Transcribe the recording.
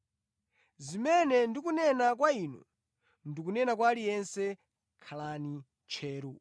Zimene ndikunena kwa inu, ndikunena kwa aliyense: ‘Khalani tcheru!’ ”